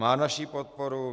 Má naši podporu.